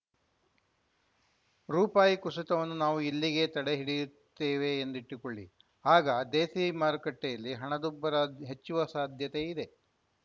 ರುಪಾಯಿ ಕುಸಿತವನ್ನು ನಾವು ಇಲ್ಲಿಗೇ ತಡೆಹಿಡಿಯುತ್ತೇವೆ ಎಂದಿಟ್ಟುಕೊಳ್ಳಿ ಆಗ ದೇಸಿ ಮಾರುಕಟ್ಟೆಯಲ್ಲಿ ಹಣದುಬ್ಬರ ಹೆಚ್ಚುವ ಸಾಧ್ಯತೆಯಿದೆ